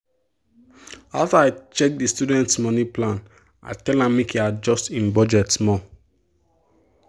after i check the student money plan i tell am make e adjust e budget small.